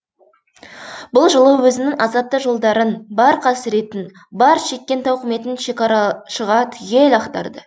бұл жолы өзінің азапты жолдарын бар қасіретін бар шеккен тауқыметін шекарашыға түгел ақтарды